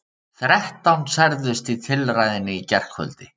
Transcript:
Þrettán særðust í tilræðinu í gærkvöldi